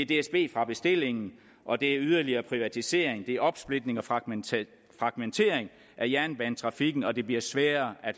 dsb fra bestillingen og det er yderligere privatisering det er opsplitning og fragmentering fragmentering af jernbanetrafikken og det bliver sværere at